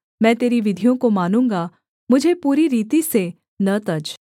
मैं तेरी विधियों को मानूँगा मुझे पूरी रीति से न तज